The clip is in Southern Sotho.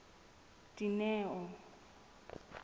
dineo